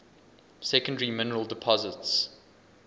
secondary mineral deposits